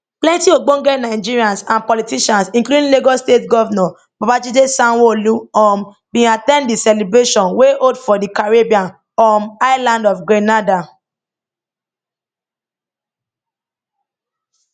plenty ogbonge nigerians and politicians including lagos state govnor babajide sanwoolu um bin at ten d di celebration wey hold for di caribbean um island of grenada